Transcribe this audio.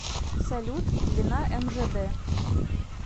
салют длина мжд